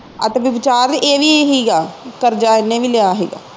ਆਹ ਤੇ ਬਚਾ ਵੀ ਏਵੀ ਹੀਗਾ ਕਰਜਾ ਇਹਨੇ ਵੀ ਲਿਆ ਹੀਗਾ